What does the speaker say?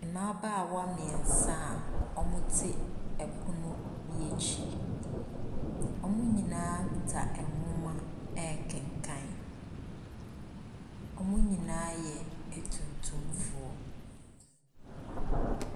Mmabaawa mmeɛnsa a wɔte pono bi akyi. Wɔn nyinaa kuta nwoma rekenkan. Wɔn nyinaa yɛ atuntumfoɔ.